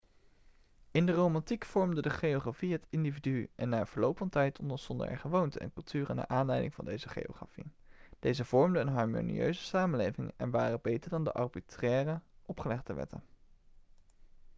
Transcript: in de romantiek vormde de geografie het individu en na verloop van tijd ontstonden er gewoonten en culturen naar aanleiding van deze geografie deze vormden een harmonieuze samenleving en waren beter dan de arbitraire opgelegde wetten